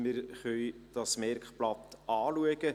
Wir können dieses Merkblatt anschauen.